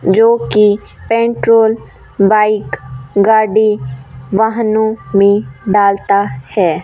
जोकि petrol bike गाड़ी वाहनों में डालता है।